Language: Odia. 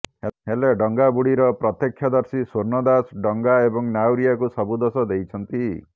ହେଲେ ଡଙ୍ଗାବୁଡ଼ିର ପ୍ରତ୍ୟକ୍ଷଦର୍ଶୀ ସ୍ୱର୍ଣ୍ଣ ଦାସ ଡଙ୍ଗା ଏବଂ ନାଉରିଆକୁ ସବୁ ଦୋଷ ଦେଇଛନ୍ତି